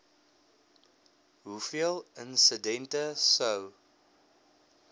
hoeveel insidente sou